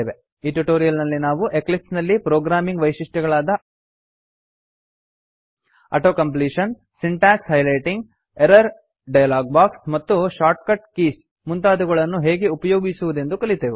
ಈ ಟ್ಯುಟೋರಿಯಲ್ ನಲ್ಲಿ ನಾವು ಎಕ್ಲಿಪ್ಸ್ ನಲ್ಲಿನ ಪ್ರೊಗ್ರಾಮಿಂಗ್ ವೈಶಿಷ್ಟ್ಯಗಳಾದ auto completion syntax highlighting error dialog box ಮತ್ತು ಶಾರ್ಟ್ಕಟ್ ಕೀಸ್ ಮುಂತಾದವುಗಳನ್ನು ಹೇಗೆ ಉಪಯೋಗಿಸುವುದೆಂದು ಕಲಿತೆವು